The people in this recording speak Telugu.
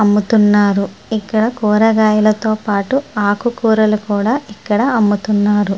అమ్ముతున్నారు. ఇక్కడ కూరగాయలతో పాటు ఆకుకూరలు కూడా ఇక్కడ అమ్ముతున్నారు.